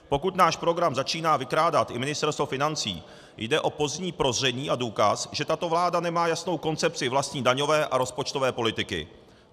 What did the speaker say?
Pokud náš program začíná vykrádat i Ministerstvo financí, jde o pozdní prozření a důkaz, že tato vláda nemá jasnou koncepci vlastní daňové a rozpočtové politiky.